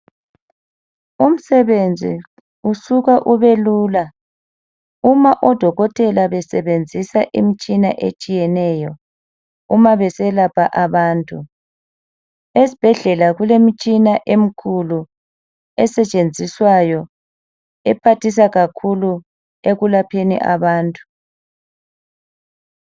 Umsebenzi usuka ube lula uma odokotela besebenzisa imitshina etshiyeneyo uma beselapha abantu , esibhedlela kule mitshina emikhulu esetshenziswayo ephathisa kakhulu ekulapheni abantu.